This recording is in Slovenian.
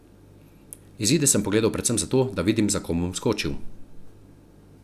Izide sem pogledal predvsem zato, da vidim, za kom bom skočil.